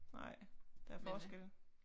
Nej der er forskel